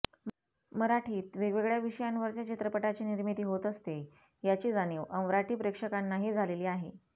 मराठीत वेगळ्या विषयांवरच्या चित्रपटाची निर्मिती होत असते याची जाणीव अमराठी प्रेक्षकांनाही झालेली आहे